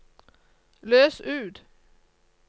løs ut